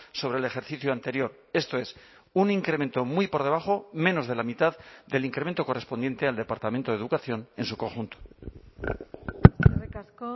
sobre el ejercicio anterior esto es un incremento muy por debajo menos de la mitad del incremento correspondiente al departamento de educación en su conjunto eskerrik asko